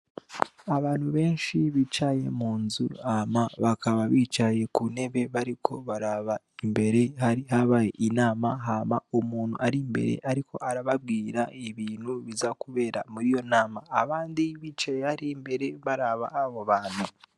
Abantu benshi bicaye mu nzu ama bakaba bicaye ku nebe bariko baraba imbere harihabaye inama hama umuntu ari mbere, ariko arababwira ibintu biza, kubera muri iyo nama abandi bicaye ari mbere baraba abo bantu.